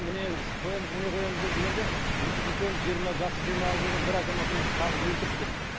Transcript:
міне қоямыз міне қоямыз деп жүргенде үлкен жасы жиырмаға келген бір азаматымызды қағып өлтіріп кетті